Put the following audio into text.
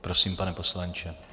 Prosím, pane poslanče.